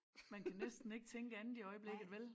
Man kan næsten ikke tænke andet i øjeblikket vel?